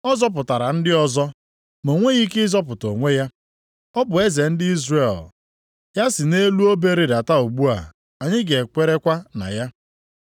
“Ọ zọpụtara ndị ọzọ, ma o nweghị ike ịzọpụta onwe ya. Ọ bụ eze ndị Izrel; ya si nʼelu obe rịdata ugbu a, anyị ga-ekwerekwa na ya.